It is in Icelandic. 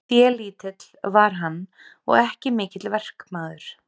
Félítill var hann og ekki mikill verkmaður.